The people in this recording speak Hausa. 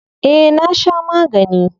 Eh na sha magani.